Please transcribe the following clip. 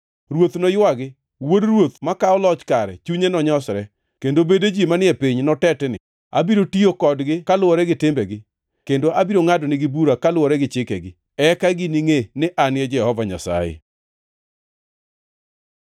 Ruoth noywagi, wuod ruoth makawo loch kare chunye nonyosre, kendo bede ji manie piny notetni. Abiro tiyo kodgi kaluwore gi timbegi, kendo abiro ngʼadonegi bura kaluwore gi chikegi. Eka giningʼe ni An e Jehova Nyasaye.’ ”